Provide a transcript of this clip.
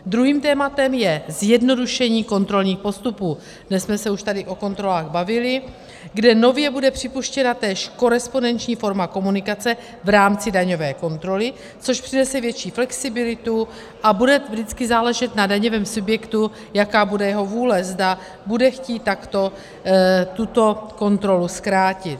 Druhým tématem je zjednodušení kontrolních postupů - dnes jsme se už tady o kontrolách bavili -, kde nově bude připuštěna též korespondenční forma komunikace v rámci daňové kontroly, což přinese větší flexibilitu, a bude vždycky záležet na daňovém subjektu, jaká bude jeho vůle, zda bude chtít takto tuto kontrolu zkrátit.